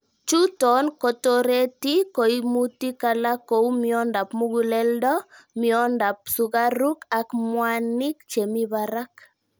Chuton kotoreti koimutik alak kou miondab mukuleldo, miondab sukaruk ak mwanik chemi barak.